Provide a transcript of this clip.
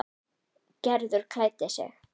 Gerður klæddi sig.